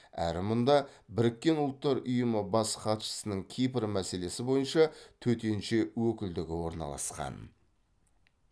әрі мұнда біріккен ұлттар ұйымы бас хатшысының кипр мәселесі бойынша төтенше өкілдігі орналасқан